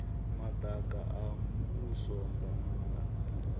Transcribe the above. madaka a muvhuso nga nnda